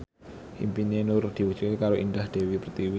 impine Nur diwujudke karo Indah Dewi Pertiwi